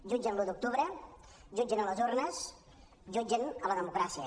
jutgen l’un d’octubre jutgen les urnes jutgen la democràcia